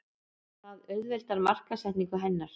Það auðveldar markaðssetningu hennar.